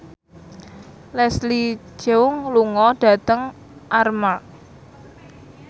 Leslie Cheung lunga dhateng Armargh